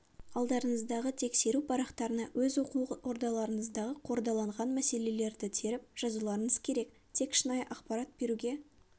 алдарыңыздағы тексеру парақтарына өз оқу ордаларыңыздағы қордаланған мәселелерді теріп жазуларыңыз керек тек шынайы ақпарат беруге